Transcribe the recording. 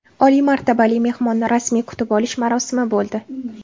Oliy martabali mehmonni rasmiy kutib olish marosimi bo‘ldi.